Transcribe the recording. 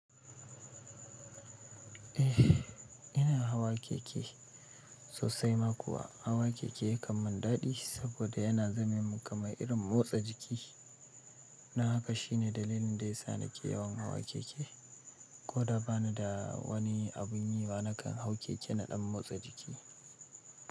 Eh ina hawa keke sosai ma kuwa hawa keke ya kam man daɗi saboda yana zame man kamar irin motsa jiki, don haka shine dalilin da ya sa nake yawan hawa keke ko da ba ni da wani abun yi ba nakan hau keke naɗan motsa jiki.